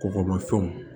Kɔgɔmafɛnw